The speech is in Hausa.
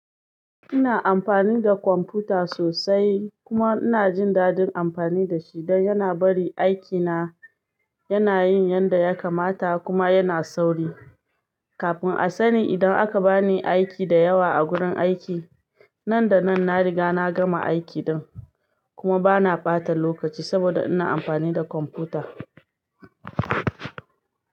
Ina amfani da kwamfuta sosai kuma ina jin dadin amfani da shi dan yana bari aikina, yana yin yanda ya kamata kuma yana sauri. Kafin a sani idan aka bani aiki da yawa a gurin aiki, nan da nan na riga na gama aikin din kuma bana bata lokaci saboda ina amfani da kwamfuta.